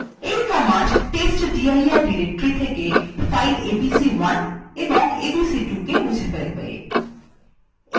এই command testdir directory থেকে files abc1 এবং abc2 মুছে ফেলবে